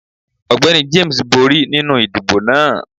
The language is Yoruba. Ọgbẹni James bori ninu idibo naa.